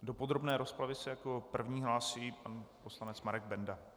Do podrobné rozpravy se jako první hlásí pan poslanec Marek Benda.